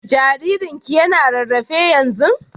Jaririn ki yana rarrafe yanzun?